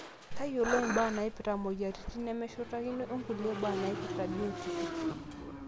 tayiolo imbaa naaipirta imweyiaritin nemeshutakinoi onkulie baa naaipirta biotishu